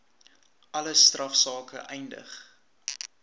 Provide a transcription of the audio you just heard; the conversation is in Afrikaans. alle strafsake eindig